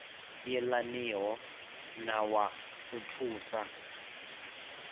yelaniho na wa u thusa